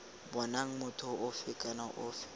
bonang motho ofe kana ofe